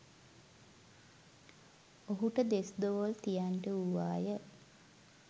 ඔහුට දෙස්‌දෙවොල් තියන්නට වූවාය.